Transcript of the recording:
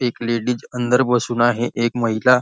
एक लेडीज अंदर बसून आहे. एक महिला--